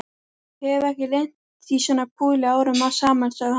Hef ekki lent í svona púli árum saman sagði hann.